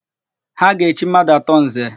Ha ga-echi mmadụ atọ Nze.